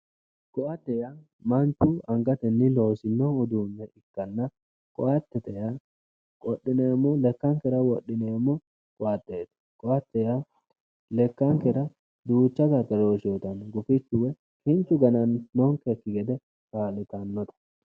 Koatte, manchu angateni loosino uduune ikkanna koattete yaa lekkankera wodhineemmo koatteti ,lekkankera duucha gargaroshe uuyittanonke lekkankera gufichu woyi kinchu gana'nonkeki gede kaa'littanke